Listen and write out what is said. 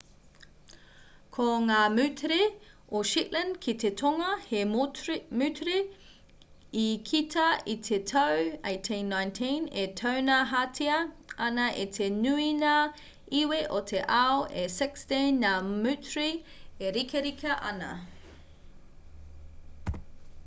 ko ngā moutere o shetland ki te tonga he moutere i kita i te tau 1819 e taunahatia ana e te nui ngā iwi o te ao e 16 ngā moutere e rikarika ana